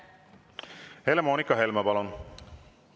Helle-Moonika Helme, palun!